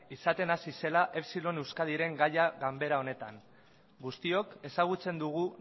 izaten hasi zela epsilon euskadiren gaia ganbara honetan guztiok ezagutzen dugu